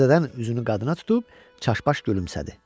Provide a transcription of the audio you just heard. Təzədən üzünü qadına tutub çaşbaş gülümsədi.